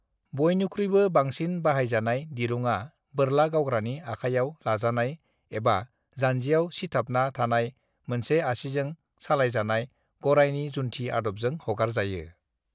बयनिख्रुयबो बांसिन बाहायजानायाव दिरुङा बोरला गावग्रानि आखायाव लाजानाय एबा जानजियाव सिथाबना थानाय मोनसे आसिजों सालायजानाय गरायनि जुन्थि आदबजों हगारजायो।